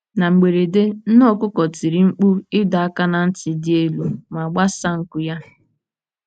Na mberede, nne okuko tiri mkpu ịdọ aka ná ntị dị elu ma gbasaa nku ya.